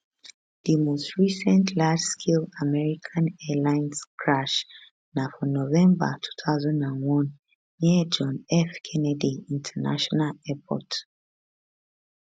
di most recent largescale american airlines crash na for november 2001 near john f kennedy international airport